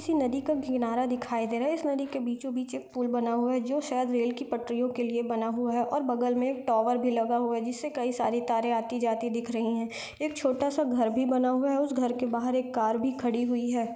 किसी नदी का किनारा दिखाई दे रहा है इस नदी बीचों बीच एक पूल बना हुआ है जो शायद रेल की पटरियों के लिए बना हुआ है और बगल में एक टावर भी लगा हुआ है जिस से कई सारी तारे आती जाती दिख रही है एक छोटा सा घर भी बना हुआ है उस घर के बहार एक कार भी खड़ी हुई है।